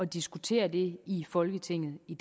diskutere det i folketinget i